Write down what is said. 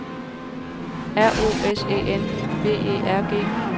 R O S E N B E R G